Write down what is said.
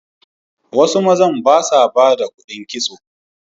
Wasu mazan ba sa ba da kuɗin kitso.